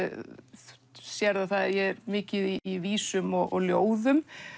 þú sérð að ég er mikið í vísum og ljóðum